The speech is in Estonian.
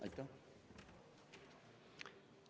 Aitäh!